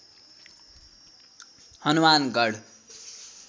Hanumangarh